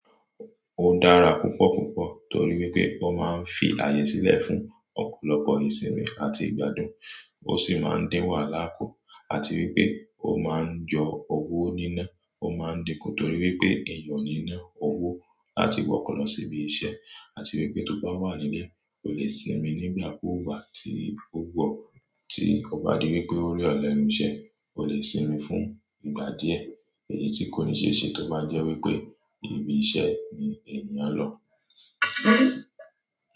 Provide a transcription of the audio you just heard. Ó dára púpọ̀púpọ̀ torí wípé ó máa ń fi àyè sílẹ̀ fún ọ̀pọ̀lọpọ̀ ìsinmi àti ìgbádùn, ó sì máa ń dín wàhálà kù, àti wípé ó máa ń yọ owó níná. Ó máa ń di kù torí wípé èèyàn o ní na owó láti wọkọ̀ lọ sí ibi iṣẹ́, àti wípé tó bá wà nílé, o lè sinmi nígbàkúùkù tí ó wu ọ́, tí ó bá di wípé ore ọ̀ lenù iṣẹ, o lè sinmi fún ìgbà díẹ̀, èyí tí kò ní ṣe ṣe tó bá jẹ́ wípé ibi iṣẹ́ ni èèyàn lọ.